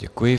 Děkuji.